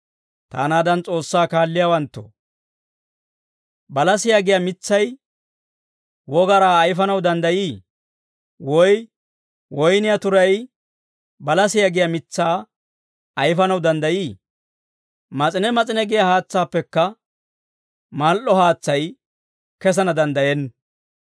Taanaadan S'oossaa kaalliyaawanttoo, balasiyaa giyaa mitsay wogaraa ayifanaw danddayii? Woy woyniyaa turay balasiyaa giyaa mitsaa ayifanaw danddayii? Mas'ine mas'ine giyaa haatsaappekka mal"o haatsay kesana danddayenna.